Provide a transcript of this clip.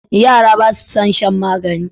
Yara basu son shan magani.